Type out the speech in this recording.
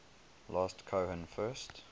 last cohen first